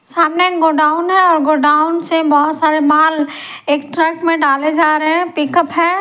सामने गोडाउन हैऔर गोडाउन से बहुत सारे माल एक ट्रक में डाले जा रहे हैं पिकअप है।